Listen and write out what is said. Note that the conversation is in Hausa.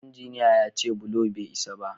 Injiniya ya ce bulo bai isa ba